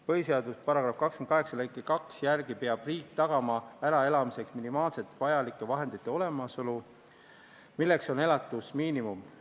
Põhiseaduse § 28 lõike 2 järgi peab riik tagama äraelamiseks minimaalselt vajalike vahendite olemasolu, milleks on elatusmiinimum.